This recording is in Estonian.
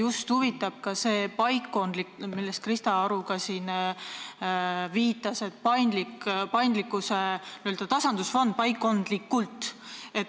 Mind huvitab just see paikkondlikkus, millele ka Krista Aru siin viitas, n-ö paikkondlik tasandusfond.